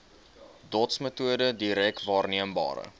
dotsmetode direk waarneembare